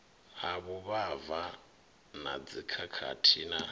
ha vhuvhava na dzikhakhathi na